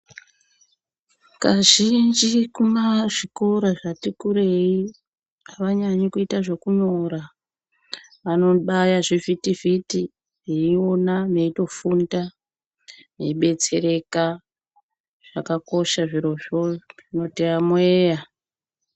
Kazhinji kumazvikora zvati kurei avanyanyi kuita zvekunyora vanobaya zvivhitivhiti veiona veitofunda veibetsereka zvakakosha zvirozvo zvinoti yamuyeya.